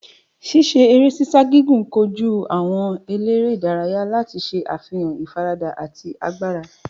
Ṣiṣe gigun gigun koju awọn elere idaraya lati ṣe afihan ifarada ati agbara.